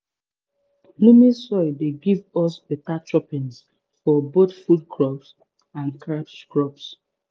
loamy soil dey give us beta choppins for both food crops and cash crops